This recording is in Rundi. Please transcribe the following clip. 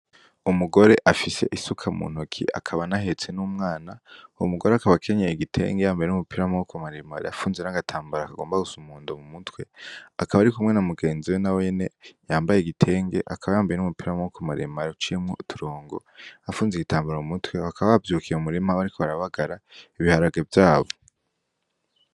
Umugore afise isuka mu ntoki akaba nahetse n'umwana wu mugore ,akabakenyeye igitenge yambaye n'umupira mwo wo ku maremo ar yafunze na agatambaro akagomba gusa umundo mu mutwe akaba ari kumwe na umugenzi we na wene yambaye igitenge akaba yambaye n'umupira mwo wo ku maremo ara cemwo turongo afunze igitambaro mu mutwe hakabavyukiye mu murima ba ari ko barabagara ibiharage vyabo.